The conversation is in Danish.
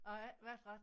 Jeg har ikke været ret